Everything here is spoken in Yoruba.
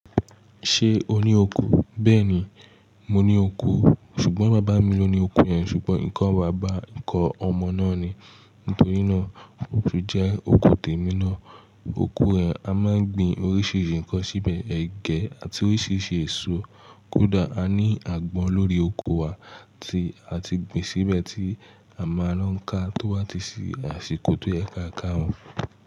Ṣé o ní oko? Bẹ́ẹ̀ni, mo ní oko. Ṣùgbọ́n bàbá mi ló ní oko yẹn. Ṣùgbọ́n nǹkan bàbá, nǹkan ọmọ náà ni. Nítorí náà, ó tún jẹ́ oko tèmi náà. Oko yẹn, a máa ń gbin oríṣiríṣi nkan síbẹ̀. Ẹ̀gẹ́ àti oríṣiríṣi èso. Kódà a ní àgbọn lórí oko wa tí a ti gbin síbẹ̀ tí a máa lo ń ká tó bà tí sì àsìkò tó yẹ káa ká wọn.